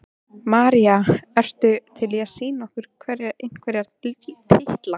María: Ertu til í að sýna okkur einhverja titla?